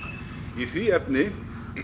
í því efni